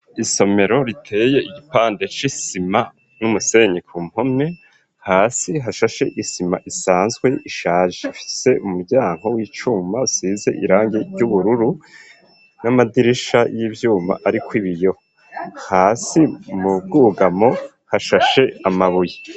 Isomero riteye igipande c'isima n'umusenyi ku mpome hasi hashashe isima isanzwe ishaje ifise umuryango w'icuma usize irangi ry'ubururu n'amadirisha y'ivyuma ariko ibiyoho hasi mu bwugamo hashashe amabuye.